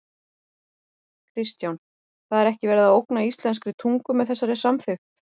Kristján: Það er ekki verið að ógna íslenskri tungu með þessari samþykkt?